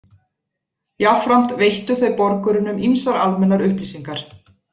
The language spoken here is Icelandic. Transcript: Jafnframt veittu þau borgurunum ýmsar almennar upplýsingar.